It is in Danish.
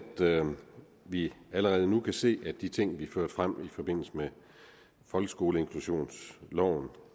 vi allerede nu kan se at de ting vi førte frem i forbindelse med folkeskoleinklusionsloven og